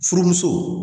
Furumuso